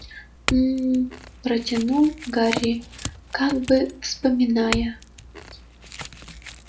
м-м-м протянул гарри как бы вспоминая